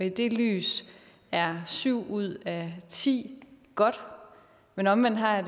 i det lys er syv ud af ti godt men omvendt har jeg